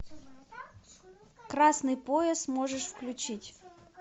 красный пояс можешь включить